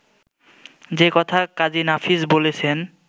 যে কথা কাজী নাফিস বলেছেন